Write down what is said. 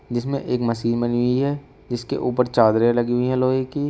जिसमें एक मशीन बनी हुई है जिसके ऊपर चादरें लगी हुई है लोहे की।